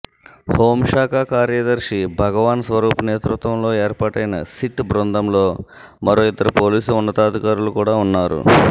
హౌంశాఖ కార్యదర్శి భగవాన్ స్వరూప్ నేతృత్వంలో ఏర్పాటైన సిట్ బందంలో మరో ఇద్దరు పోలీసు ఉన్నతాధికారులు కూడా ఉన్నారు